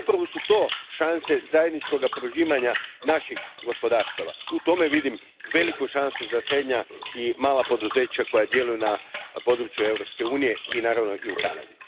Upravo su to šanse zajedničkoga prožimanja naših gospodarstava, u tome vidim veliku šansu za srednja i mala poduzeća koja djeluju na području Europske unije i u Kanadi.